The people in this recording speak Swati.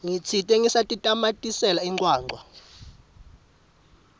ngitsite ngisatitamatisela incwancwa